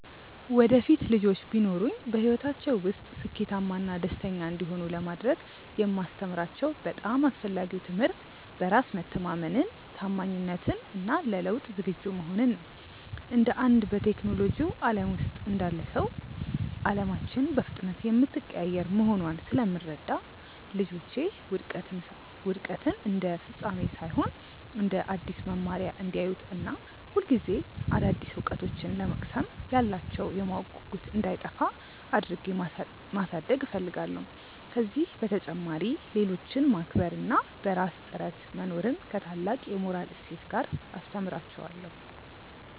ወደፊት ልጆች ቢኖሩኝ፣ በሕይወታቸው ውስጥ ስኬታማና ደስተኛ እንዲሆኑ ለማድረግ የማስተምራቸው በጣም አስፈላጊው ትምህርት በራስ መተማመንን፣ ታማኝነትን እና ለለውጥ ዝግጁ መሆንን ነው። እንደ አንድ በቴክኖሎጂው ዓለም ውስጥ እንዳለ ሰው፣ ዓለማችን በፍጥነት የምትቀያየር መሆኗን ስለምረዳ፣ ልጆቼ ውድቀትን እንደ ፍጻሜ ሳይሆን እንደ አዲስ መማሪያ እንዲያዩት እና ሁልጊዜ አዳዲስ እውቀቶችን ለመቅሰም ያላቸው የማወቅ ጉጉት እንዳይጠፋ አድርጌ ማሳደግ እፈልጋለሁ። ከዚህ በተጨማሪ፣ ሌሎችን ማክበር እና በራስ ጥረት መኖርን ከታላቅ የሞራል እሴት ጋር አስተምራቸዋለሁ።